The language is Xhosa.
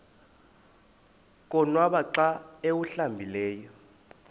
konwaba xa awuhlambileyo